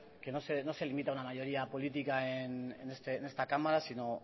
que no se limita una mayoría política en esta cámara sino